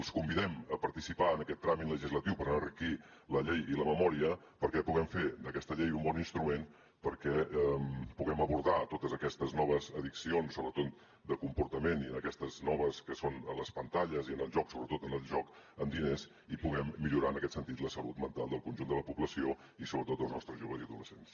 els convidem a participar en aquest tràmit legislatiu per enriquir la llei i la memòria perquè puguem fer d’aquesta llei un bon instrument perquè puguem abordar totes aquestes noves addiccions sobretot de comportament i aquestes noves que són a les pantalles i al joc sobretot al joc amb diners i puguem millorar en aquest sentit la salut mental del conjunt de la població i sobretot dels nostres joves i adolescents